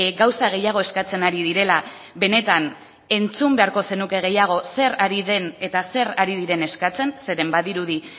gauza gehiago eskatzen ari direla benetan entzun beharko zenuke gehiago zer ari den eta zer ari diren eskatzen zeren badirudi